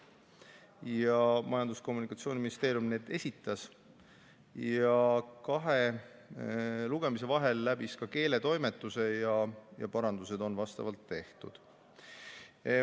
Need esitas Majandus- ja Kommunikatsiooniministeerium ja kahe lugemise vahel läbisid need ka keeletoimetamise ja vastavad parandused on tehtud.